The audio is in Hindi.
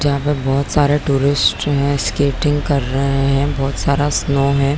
जहाँ पर बहोत सारे टूरिस्ट है स्केटिंग कर रहै है बहोत सारा शो है।